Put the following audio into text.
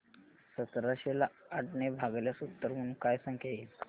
सतराशे ला आठ ने भागल्यास उत्तर म्हणून काय संख्या येईल